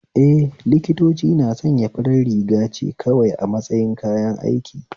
Eh, liktoci na sanya farar rigace kawai a matsayin kayan aiki